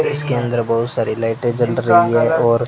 इसके अंदर बहुत सारी लाइटें जल रही हैं और--